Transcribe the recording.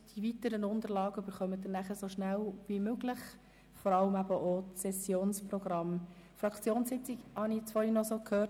Die weiteren Unterlagen, vor allem auch das Sessionsprogramm, werden Sie sobald wie möglich erhalten.